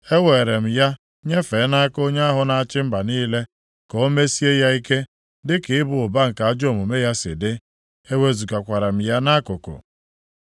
Eweere m ya nyefee nʼaka onye ahụ na-achị mba niile, ka o mesie ya ike, dịka ịba ụba nke ajọ omume ya si dị. Ewezugakwara m ya nʼakụkụ.